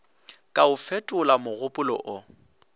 ka a fetola mogopolo o